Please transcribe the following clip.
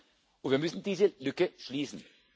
Und wir müssen diese Lücke schließen.